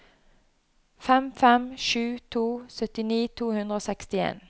fem fem sju to syttini to hundre og sekstien